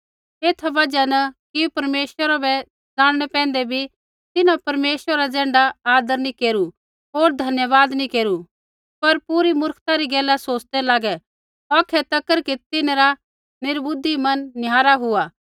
एथा बजहा न कि परमेश्वरा बै ज़ाणनै पैंधै बी तिन्हैं परमेश्वरा रा ज़ैण्ढा आदर नी केरू होर धन्यवाद नी केरू पर पूरी मुर्खता री गैला सोच़दै लागै औखै कि तिन्हरा निर्बुधि मन निहारा हुआ